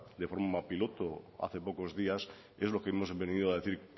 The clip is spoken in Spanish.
de forma piloto hace pocos días es lo que hemos venido a decir